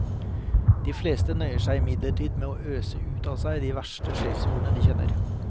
De fleste nøyer seg imidlertid med å øse ut av seg de verste skjellsordene de kjenner.